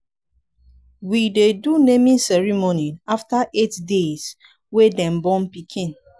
we dey do naming ceremony after eight deys wey dem born pikin.